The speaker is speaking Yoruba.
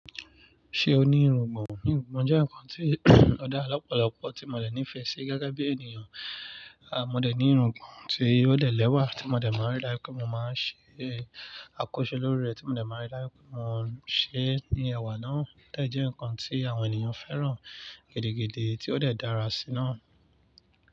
Ṣé o ní irùngbọ̀n? Irùngbọ̀n jẹ́ ǹkan tí o dàa lọ́pọ̀lọ́pọ̀ tí mo dẹ̀ nífẹ̀ẹ́ sí gege bí ènìyàn, à mo dẹ̀ ní irùngbọ̀n tí ó dè lẹ́wà tí mo dẹ̀ máa rí lati mo máa ń ṣe àkọsílẹ̀ lórí rẹ̀ tí mo dẹ̀ máa rí láé tí mo ń ṣe ní ẹ̀wà náà tí ó jẹ́ ǹkan tí àwọn ènìyàn fẹ́ràn gidigidi tí ó dẹ̀ dára sí náà.